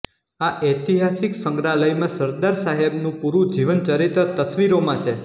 આ ઐતિહાસિક સંગ્રહાલયમાં સરદાર સાહેબનું પૂરૂ જીવનચરિત્ર તસ્વીરોમાં છે